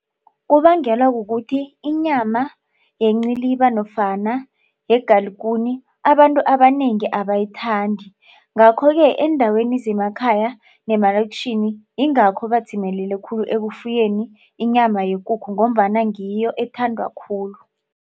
Kubangelwa kukuthi inyama yenciliba nofana yegalugune abantu abanengi abayithandi. Ngakho-ke eendaweni zemakhaya nemalokitjhini ingakho badzimelele khulu ekufuyeni inyama yekukhu ngombana ngiyo ethandwa khulu.